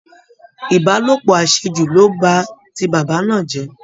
Ìbálòpọ̀ àṣejù ló ba ti bàbá náà jẹ́